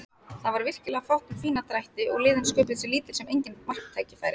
Það var virkilega fátt um fína drætti og liðin sköpuðu sér lítil sem engin marktækifæri.